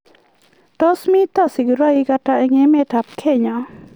Tos mito sigiroik ata eng' emet ab Kenya